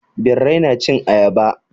Birrai na cin ayaba.